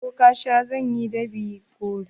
Okasha zai yi dab'i gobe.